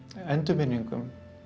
endurminningum